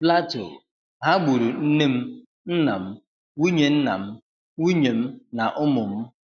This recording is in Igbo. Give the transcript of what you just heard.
Plateau: 'ha gburu nne m, nna m, nwunye nna m, nwunye m na ụmụ m'